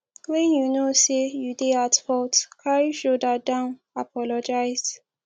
when you know sey you dey at fault carry shoulder down apologise